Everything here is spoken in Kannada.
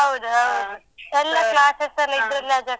ಹೌದ್‌ಹೌದು. ಎಲ್ಲ class ಲ್ಲ ಇದ್ರಲ್ಲೆ ಆಗತ್ತೆ.